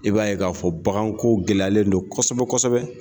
I b'a ye k'a fɔ baganko gɛlɛyalen don kosɛbɛ kosɛbɛ